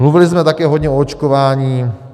Mluvili jsme také hodně o očkování.